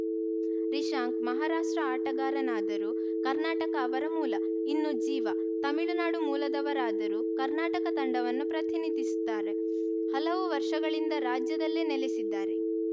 ರಿಶಾಂಕ್‌ ಮಹಾರಾಷ್ಟ್ರ ಆಟಗಾರನಾದರೂ ಕರ್ನಾಟಕ ಅವರ ಮೂಲ ಇನ್ನು ಜೀವ ತಮಿಳುನಾಡು ಮೂಲದವರಾದರೂ ಕರ್ನಾಟಕ ತಂಡವನ್ನು ಪ್ರತಿನಿಧಿಸುತ್ತಾರೆ ಹಲವು ವರ್ಷಗಳಿಂದ ರಾಜ್ಯದಲ್ಲೇ ನೆಲೆಸಿದ್ದಾರೆ